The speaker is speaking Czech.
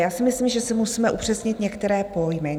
Já si myslím, že si musíme upřesnit některé pojmy.